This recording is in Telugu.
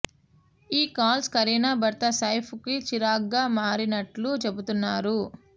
ఈ కాల్స్ కరీనా భర్త సైఫ్ కు చిరాగ్గా మారినట్లు చెబుతున్నారు